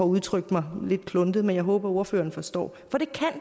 udtrykt mig lidt kluntet men jeg håber at ordføreren forstår